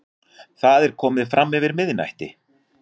Það er komið framyfir miðnætti.